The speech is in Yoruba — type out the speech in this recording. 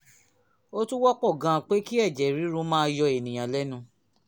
ó tún wọ́pọ̀ gan-an pé kí ẹ̀jẹ̀ ríru máa yọ èèyàn lẹ́nu